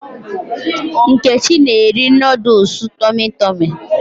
Nkechi na-eri nooduls Tọmị Tọmị